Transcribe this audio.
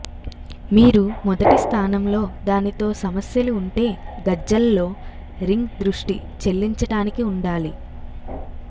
మీరు మొదటి స్థానంలో దానితో సమస్యలు ఉంటే గజ్జల్లో రింగ్ దృష్టి చెల్లించటానికి ఉండాలి